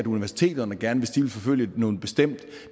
universiteterne gerne vil forfølge noget bestemt